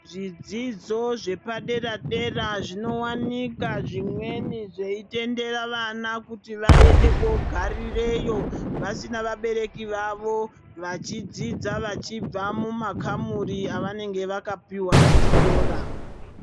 Zvidzidzo zvepadera dera zvinowanikwa zvimweni zveitendera vana kuti vaende kogarireyo vasina vabereki vachidzidza vachibva mumakamuri avanenge vakapiwa pachikora.